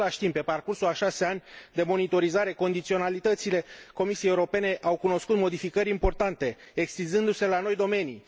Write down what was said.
În același timp, pe parcursul a șase ani de monitorizare, condiționalitățile Comisiei Europene au cunoscut modificări importante, extinzându se la noi domenii.